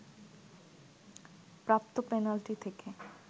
প্রাপ্ত পেনাল্টি থেকে